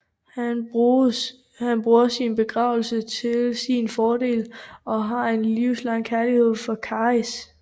Han bruger sin begavelse til sin fordel og har en livslang kærlighed for Caris